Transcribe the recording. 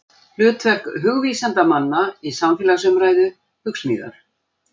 Hlutverk hugvísindamanna í samfélagsumræðu, Hugsmíðar.